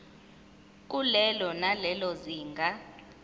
kulelo nalelo zinga